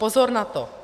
Pozor na to!